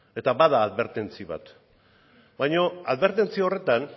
eta bada adbertentzi bat baina adbertentzi horretan